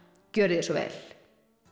gjörið þið svo vel